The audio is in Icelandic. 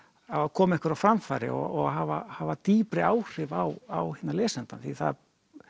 koma einhverju á framfæri og hafa hafa dýpri áhrif á lesandann því það